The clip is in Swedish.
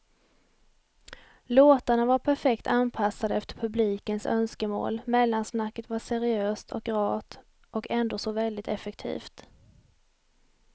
Låtarna var perfekt anpassade efter publikens önskemål, mellansnacket var seriöst och rart och ändå så väldigt effektivt.